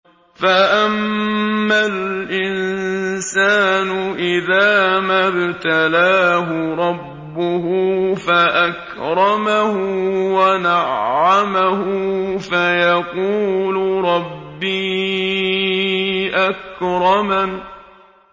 فَأَمَّا الْإِنسَانُ إِذَا مَا ابْتَلَاهُ رَبُّهُ فَأَكْرَمَهُ وَنَعَّمَهُ فَيَقُولُ رَبِّي أَكْرَمَنِ